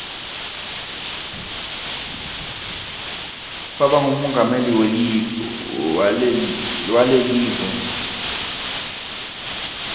waba ngumongameli walekive